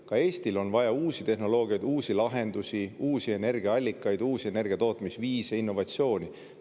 Ka Eestil on vaja uusi tehnoloogiaid, uusi lahendusi, uusi energiaallikaid, uusi energiatootmisviise, innovatsiooni.